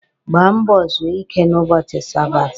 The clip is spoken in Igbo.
Gbaa mbọ zuo ike n'ụbọchị sabati!